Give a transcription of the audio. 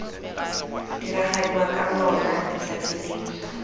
diragadiwa ka lona letsatsi leo